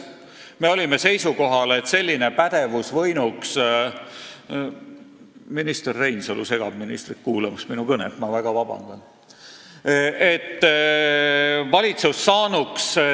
Me olime seisukohal, et valitsus saanuks suurema pädevuse korral – vabandust, aga minister Reinsalu segab ministril kuulamast minu kõnet!